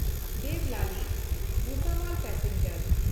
ᱫᱮᱵᱞᱟᱞᱤ-ᱵᱷᱩᱥᱟᱵᱚᱞ passenger